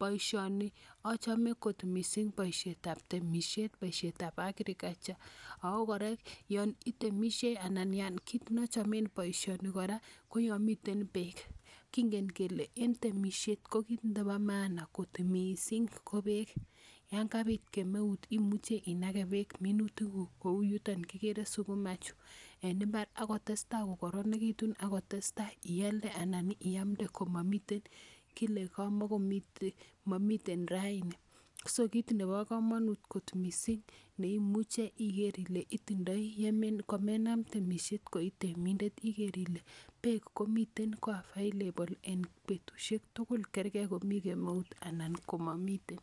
Poishoni, achame kot missing' poishet ap temisiet, poishet ap agriculture ako kora yan itemishei anan ya kiit ne achame poishoni kora ko yan miteen peek. Kingen kele en temisiet ko kiit nepo maana missing' ko peek, yan kapiit kemeut ko muchi inage minutiikuuk koou yutok kikere sukuma chu en imbar, ako testai kokararanitu aki tes tai ialde ana iamde koma mitei kile kamakomiite , mamitei raini. so, kiit nepo kamanut kot missing' ne imuchi igeer ile itindai komenaam temisiet koi temindeet igeer ile peek komitei ko available en petushek tugul kergei ngo mitei kemeut anan ko mamitei.